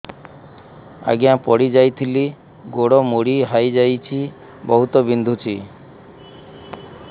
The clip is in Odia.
ଆଜ୍ଞା ପଡିଯାଇଥିଲି ଗୋଡ଼ ମୋଡ଼ି ହାଇଯାଇଛି ବହୁତ ବିନ୍ଧୁଛି